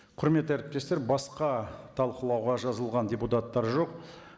құрметті әріптестер басқа талқылауға жазылған депутаттар жоқ